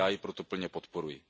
Já ji proto plně podporuji.